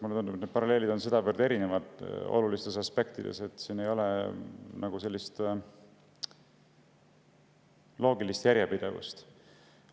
Mulle tundub, et need paralleelid on olulistes aspektides väga erinevad, siin ei ole nagu sellist loogilist järjepidevust.